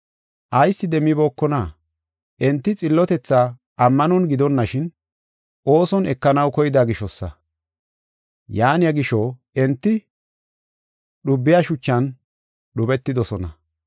Ayis demmibookona? Enti xillotethaa ammanon gidonashin, ooson ekanaw koyida gishosa. Yaaniya gisho, enti, “Dhubiya shuchan” dhubetidosona.